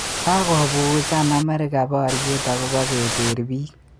Kakopuusan Amerika baryet akobo keteer biik